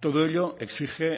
todo ello exige